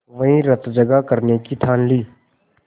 वहीं रतजगा करने की ठान ली